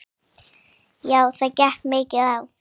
Já það gekk mikið á.